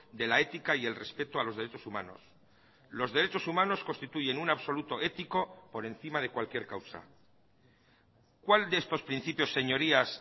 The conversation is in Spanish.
de la ética y el respeto a los derechos humanos los derechos humanos constituyen un absoluto ético por encima de cualquier causa cuál de estos principios señorías